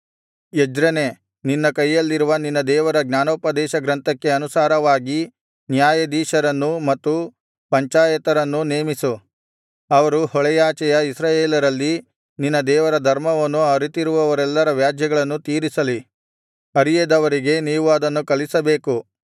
ಎಜ್ರನೇ ನಿನ್ನ ಕೈಯಲ್ಲಿರುವ ನಿನ್ನ ದೇವರ ಜ್ಞಾನೋಪದೇಶಗ್ರಂಥಕ್ಕೆ ಅನುಸಾರವಾಗಿ ನ್ಯಾಯಾಧೀಶರನ್ನೂ ಮತ್ತು ಪಂಚಾಯತರನ್ನೂ ನೇಮಿಸು ಅವರು ಹೊಳೆಯಾಚೆಯ ಇಸ್ರಾಯೇಲರಲ್ಲಿ ನಿನ್ನ ದೇವರ ಧರ್ಮವನ್ನು ಅರಿತಿರುವವರೆಲ್ಲರ ವ್ಯಾಜ್ಯಗಳನ್ನು ತೀರಿಸಲಿ ಅರಿಯದವರಿಗೆ ನೀವು ಅದನ್ನು ಕಲಿಸಬೇಕು